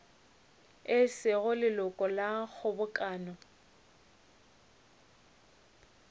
e sego leloko la kgobokano